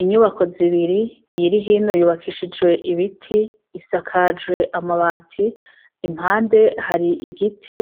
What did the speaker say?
Inyubako zibiri , iyiri hino yubakishijwe ibiti, isakajwe amabati, impande hari igiti